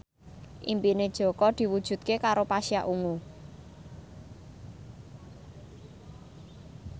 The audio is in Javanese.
impine Jaka diwujudke karo Pasha Ungu